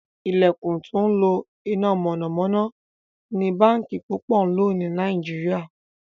ilẹkùn tó ńlo iná mọ̀nàmọ́ná ní bánkì púpọ ló ní Nàìjíríà.